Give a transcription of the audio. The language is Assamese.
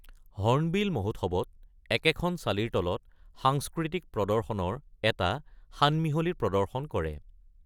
হৰ্ণবিল মহোৎসৱত একেখন চালিৰ তলত সাংস্কৃতিক প্ৰদৰ্শনৰ এটা সানমিহলি প্ৰদৰ্শন কৰে।